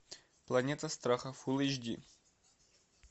планета страха фул эйч ди